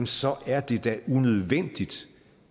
så er det da unødvendigt